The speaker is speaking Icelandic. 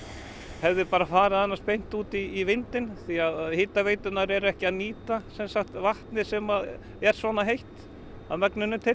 hefði bara farið beint út í vindinn því að hitaveiturnar eru ekki að nýta vatnið sem er svona heitt að megninu til